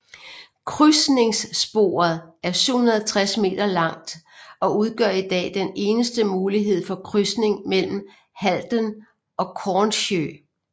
Krydsningssporet er 760 meter langt og udgør i dag den eneste mulighed for krydsning mellem Halden og Kornsjø